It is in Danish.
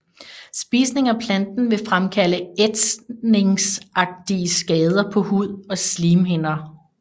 Spisning af planten vil fremkalde ætsningsagtige skader på hud og slimhinder